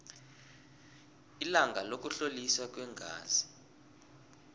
ilanga lokuhloliswa kweengazi